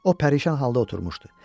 O pərişan halda oturmuşdu.